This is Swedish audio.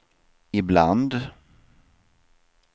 ibland